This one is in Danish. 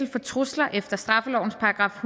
for trusler efter straffelovens §